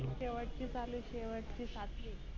शेवटचे चालू आहे शेवट चे सातवी